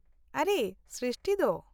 -ᱟᱨᱮ, ᱥᱨᱤᱥᱴᱤ ᱫᱚ !